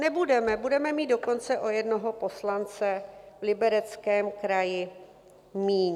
Nebudeme, budeme mít dokonce o jednoho poslance v Libereckém kraji míň.